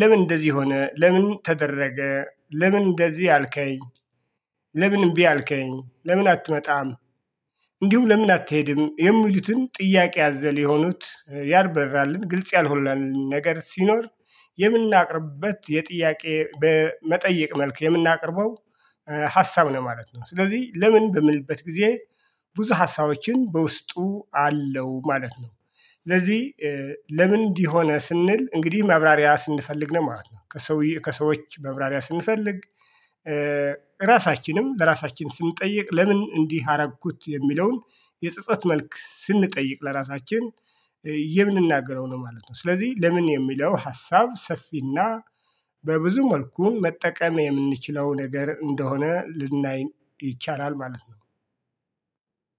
"ለምን እንደዚህ ሆነ? ለምን ተደረገ? ለምን እንደዚህ አልከኝ?" "ለምን እምቢ አልከኝ? ለምን አትመጣም? እንዲሁ ለምን አትሄድም?" የሚሉትን ጥያቄ አዘል የሆኑትን፣ ያልበራልንና ግልጽ ያልሆነልን ነገር ሲኖር የምናቀርብበት፣ ጥያቄ በመጠየቅ መልኩ የምናቀርበው ሀሳብ ነው ማለት ነው። ስለዚህ "ለምን?" በምንልበት ጊዜ ብዙ ሐሳቦችን በውስጡ አለው ማለት ነው። ስለዚህ "ለምን እንዲህ ሆነ?" ስንል እንግዲህ ማብራሪያ ስንፈልግ ነው ማለት ነው፤ ከሰው፣ ከሰዎች ማብራሪያ ስንፈልግ ራሳችንም ለራሳችን ስንጠይቅ "ለምን እንዲህ አደረግኩት?" የሚለውን የጸጸት መልክ ስንጠይቅ ለራሳችን የምንናገረው ነው ማለት ነው። ስለዚህ "ለምን" የሚለው ሀሳብ ሰፊና በብዙ መልኩ ልንጠቀምበት የምንችለው ነገር እንደሆነ ልናይ እንችላለን ማለት ነው።